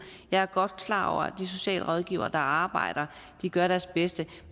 jeg er godt klar over at de socialrådgivere der arbejder gør deres bedste